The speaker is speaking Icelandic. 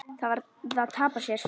Það var að tapa sér.